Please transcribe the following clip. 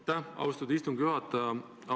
Aitäh, austatud istungi juhataja!